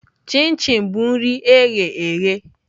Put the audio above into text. Chi chin bụ nri eghe eghe